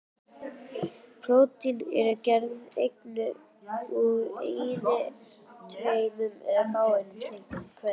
Prótín eru gerð úr einni, tveimur eða fáeinum slíkum keðjum.